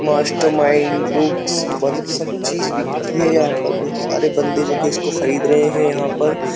Master mind books मतलब सब चीज बिकती है यहाँ पर। बहुत सारे बंदे जोकि इसको खरीद रहे है यहाँ पर।